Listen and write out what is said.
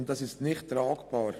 Dies ist nicht tragbar.